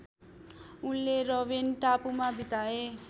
उनले रबेन टापुमा बिताए